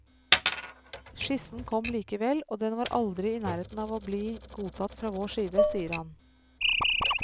Skissen kom likevel, og den var aldri i nærheten av å bli godtatt fra vår side, sier han.